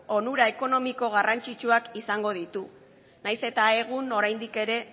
onura ekonomiko garrantzitsuak izango ditu nahiz eta egun oraindik ere